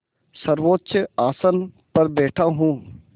सर्वोच्च आसन पर बैठा हूँ